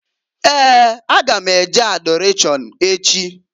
Ee! A ga m e je Adọrashọn echi.